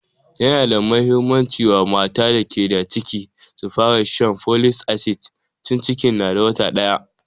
Yana da muhimmanci wa mata da ke da ciki su fara shan folic acid tun cikin na wata ɗaya